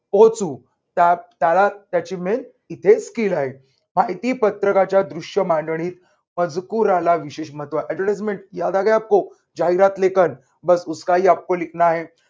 पोहोचू. त्यात त्याला त्याची main इथे skill आहे. माहितीपत्रकाच्या दृश्य मांडणीत मजकुराला विशेष महत्त्व. advertisement